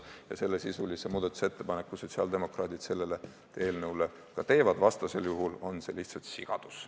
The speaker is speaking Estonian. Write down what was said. Ja sellesisulise muudatusettepaneku sotsiaaldemokraadid selle eelnõu kohta ka teevad, vastasel juhul on see lihtsalt sigadus.